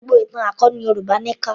Gbogbo ìtàn akọni Yorùbá ni kà.